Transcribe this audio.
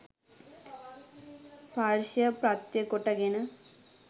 ස්පර්ශය ප්‍රත්‍ය කොට ගෙන